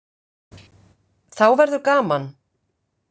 Þá verður gaman.